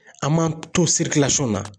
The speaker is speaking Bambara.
An m'an to na